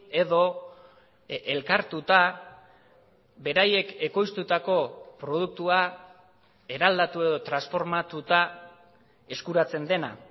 edo elkartuta beraiek ekoiztutako produktua eraldatu edo transformatuta eskuratzen dena